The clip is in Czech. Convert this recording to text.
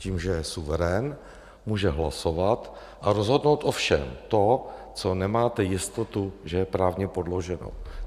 Tím, že je suverén, může hlasovat a rozhodnout o všem, v čem nemáte jistotu, že je právně podloženo.